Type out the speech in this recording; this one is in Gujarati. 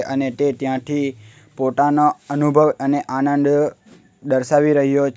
અને તે ત્યાંથી પોતાના અનુભવ અને આનંદ દર્શાવી રહ્યો છે.